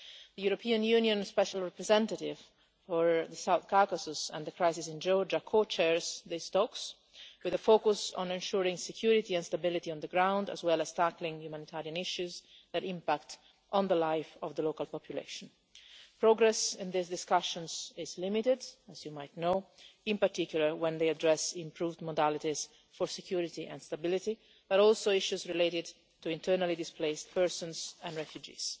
The European Union special representative for the South Caucasus and the crisis in Georgia co chairs these talks, with a focus on ensuring security and stability on the ground, as well as tackling humanitarian issues that impact on the life of the local population. Progress in these discussions is limited, as you might know, in particular when they address improved modalities for security and stability, but also issues related to internally displaced persons and refugees.